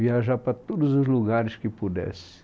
Viajar para todos os lugares que pudesse.